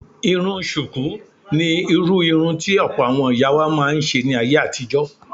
Irun ṣùkú ni irú irun tí ọ̀pọ̀ àwọn ìyá wa máa ń ṣe ní ayé àtijó.